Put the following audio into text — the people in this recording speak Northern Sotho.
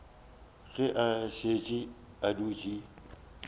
ge a šetše a dutše